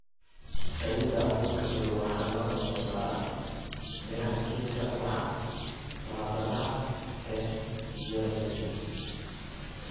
Saliidda abuurka madow waxaa laga soo saaraa miraha geedka ubaxa sanadlaha ah ee Nigella sativa,